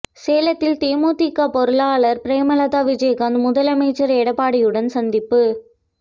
சேலத்தில் தேமுதிக பொருளாளர் பிரேமலதா விஜயகாந்த் முதலமைச்சர் எடப்பாடியுடன் சந்திப்பு